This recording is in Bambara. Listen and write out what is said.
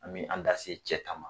An bɛ an da se cɛ ta ma